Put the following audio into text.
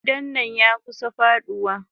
Gidan nan yakusa faduwa.